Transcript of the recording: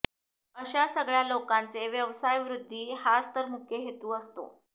अश्या सगळ्या लोकांचे व्यवसायवृद्धी हाच तर मुख्य हेतू असतो